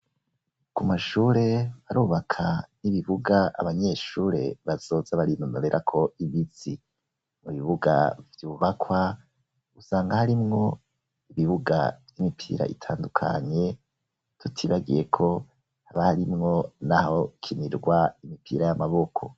Ku mashure barubaka n'ibibuga abanyeshure bazoza barinomebera ko imitsi mu bibuga vyubakwa usanga harimwo ibibuga vy'imipira itandukanye tutibagiye ko barimwo n'aho kinirwa imipira y'amaboko.